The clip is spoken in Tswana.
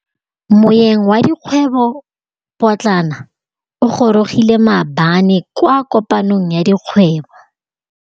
Moêng wa dikgwêbô pôtlana o gorogile maabane kwa kopanong ya dikgwêbô.